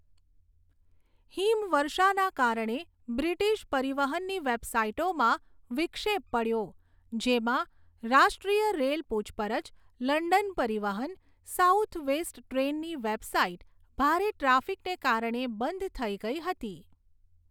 હિમવર્ષાના કારણે બ્રિટિશ પરિવહનની વેબસાઈટોમાં વિક્ષેપ પડ્યો, જેમાં રાષ્ટ્રીય રેલ પૂછપરછ, લંડન પરિવહન, સાઉથ વેસ્ટ ટ્રેનની વેબસાઈટ ભારે ટ્રાફિકને કારણે બંધ થઈ ગઈ હતી.